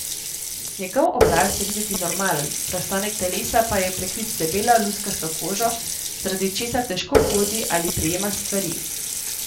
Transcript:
Njegov obraz je videti normalen, preostanek telesa pa je prekrit z debelo, luskasto kožo, zaradi česar težko hodi ali prijema stvari.